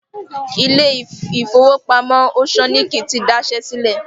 Ilé ìfowópamọ́ Òṣọ́níkí ti daṣẹ́ sílẹ̀